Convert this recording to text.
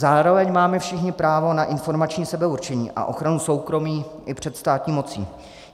Zároveň máme všichni právo na informační sebeurčení a ochranu soukromí i před státní mocí.